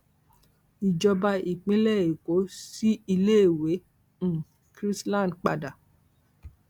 ìjọba ìpínlẹ èkó sí iléèwé um chrisland padà